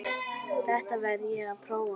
Þetta verð ég að prófa